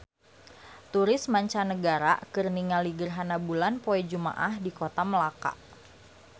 Turis mancanagara keur ningali gerhana bulan poe Jumaah di Kota Melaka